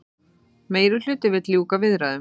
Meirihluti vill ljúka viðræðum